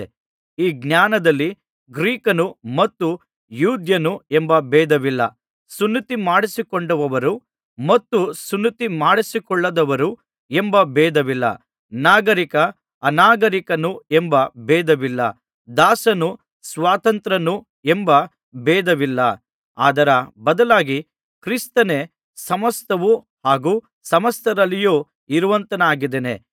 ಈ ಜ್ಞಾನದಲ್ಲಿ ಗ್ರೀಕನು ಮತ್ತು ಯೆಹೂದ್ಯನು ಎಂಬ ಭೇದವಿಲ್ಲ ಸುನ್ನತಿಮಾಡಿಸಿಕೊಂಡವರು ಮತ್ತು ಸುನ್ನತಿ ಮಾಡಿಸಿಕೊಳ್ಳದವರು ಎಂಬ ಭೇದವಿಲ್ಲ ನಾಗರಿಕ ಅನಾಗರಿಕನು ಎಂಬ ಭೇದವಿಲ್ಲ ದಾಸನು ಸ್ವತಂತ್ರನು ಎಂಬ ಭೇದವಿಲ್ಲ ಆದರ ಬದಲಾಗಿ ಕ್ರಿಸ್ತನೇ ಸಮಸ್ತವೂ ಹಾಗೂ ಸಮಸ್ತರಲ್ಲಿಯೂ ಇರುವಾತನಾಗಿದ್ದಾನೆ